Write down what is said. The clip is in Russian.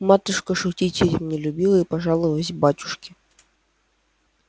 матушка шутить этим не любила и пожаловалась батюшке